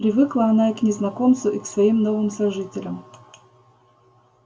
привыкла она и к незнакомцу и к своим новым сожителям